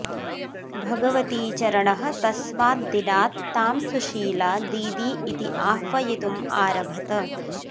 भगवतीचरणः तस्मात् दिनात् तां सुशीला दीदी इति आह्वयितुम् आरभत